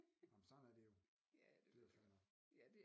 Nå men sådan er det jo det er jo fair nok